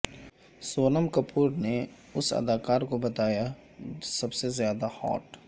سونم کپور نے اس اداکار کو بتایا سب سے زیادہ ہاٹ